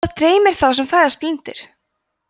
hvað dreymir þá sem fæðast blindir